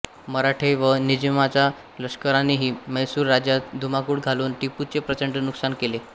मराठे व निजामाच्या लष्करानेही म्हैसूर राज्यात धुमाकूळ घालून टिपूचे प्रचंड नुकसान केले